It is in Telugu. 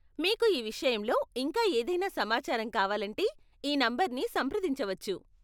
మీకు ఈ విషయంలో ఇంకా ఏదైనా సమాచారం కావాలంటే ఈ నంబర్ని సంప్రదించవచ్చు.